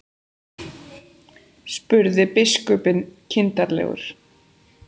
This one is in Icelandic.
spurði biskupinn kindarlegur.